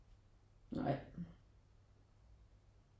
Nej